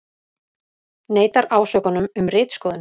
Neitar ásökunum um ritskoðun